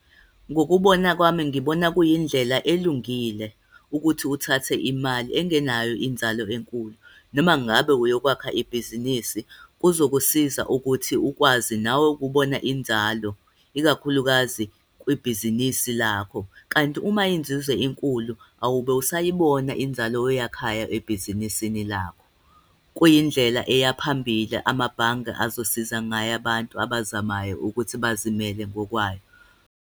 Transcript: Ngokubona kwami, ngibona kuyindlela elungile ukuthi uthathe imali engenayo inzalo enkulu, noma ngabe uyokwakha ibhizinisi, kuzokusiza ukuthi ukwazi nawe kubona inzalo, ikakhulukazi kwibhizinisi lakho. Kanti uma inzuzo inkulu, awube usayibona khona inzalo oyakhayo ebhizinisini lakho. Kuyindlela eya phambili amabhange azosiza ngayo abantu abazamayo ukuthi bazilimele ngokwabo.